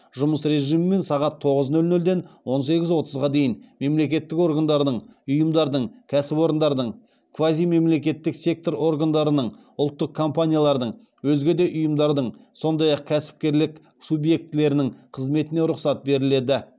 жұмыс режимімен сағат тоғыз нөл нөлден он сегіз отызға дейін мемлекеттік органдардың ұйымдардың кәсіпорындардың квазимемлекеттік сектор органдарының ұлттық кампаниялардың өзге де ұйымдардың сондай ақ кәсіпкерлік субъектілерінің қызметіне рұқсат беріледі